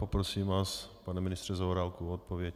Poprosím vás, pane ministře Zaorálku, o odpověď.